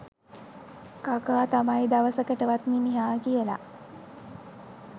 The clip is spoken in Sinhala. කකා තමයි දවසකටවත් මිනිහා කියලා